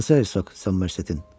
Hansı Hersoq Somersettin?